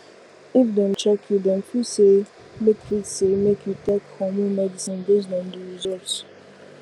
if dem check you dem fit say make fit say make you take hormone medicine based on the result